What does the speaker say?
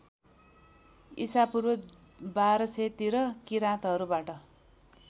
ईशापूर्व १२००तिर किराँतहरूबाट